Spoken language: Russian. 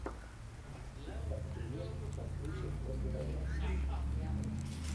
искать фильмец с актрисой ольгой равицкой